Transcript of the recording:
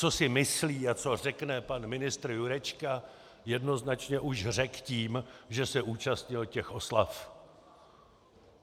Co si myslí a co řekne pan ministr Jurečka, jednoznačně už řekl tím, že se účastnil těch oslav.